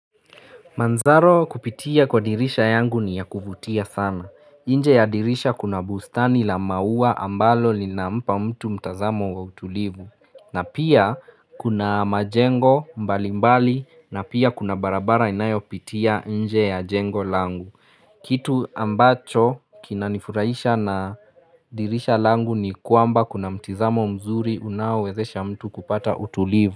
Manzaro kupitia kwa dirisha yangu ni ya kuvutia sana. Inje ya dirisha kuna bustani la mauwa ambalo ni na mpa mtu mtazamo wa utulivu. Na pia kuna majengo mbali mbali na pia kuna barabara inayo pitia inje ya jengo langu. Kitu ambacho kinanifurahisha na dirisha langu ni kwamba wakati kuna mtizamo mzuri unawezesha mtu kupata utulivu.